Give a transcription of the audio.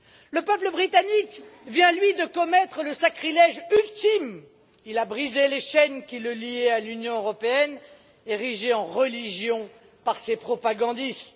Le peuple britannique vient, lui, de commettre le sacrilège ultime il a brisé les chaînes qui le liaient à l'Union européenne, érigée en religion par ses propagandistes.